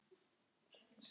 Þinn vinur Aron.